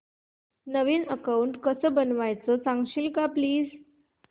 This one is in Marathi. नवीन अकाऊंट कसं बनवायचं सांगशील का प्लीज